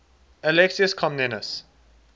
alexius comnenus